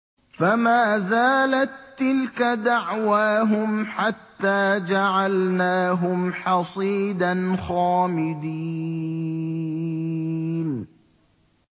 فَمَا زَالَت تِّلْكَ دَعْوَاهُمْ حَتَّىٰ جَعَلْنَاهُمْ حَصِيدًا خَامِدِينَ